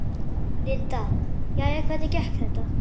Linda: Jæja, hvernig gekk þetta?